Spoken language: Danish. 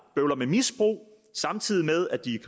bøvler med misbrug samtidig med at de